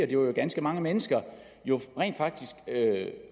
jo ganske mange mennesker rent faktisk